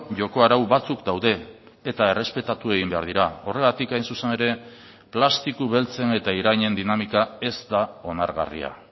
joko arau batzuk daude eta errespetatu egin behar dira horregatik hain zuzen ere plastiko beltzen eta irainen dinamika ez da onargarria